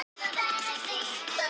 Við sáum enga leið út.